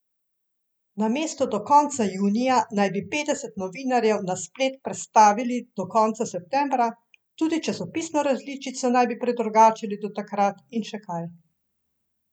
Namesto do konca junija naj bi petdeset novinarjev na splet prestavili do konca septembra, tudi časopisno različico naj bi predrugačili do takrat in še kaj.